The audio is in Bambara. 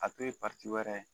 A to ye wɛrɛ ye